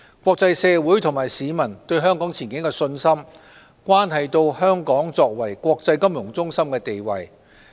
國際社會及市民對香港前景的信心，關係到香港作為國際金融中心的地位。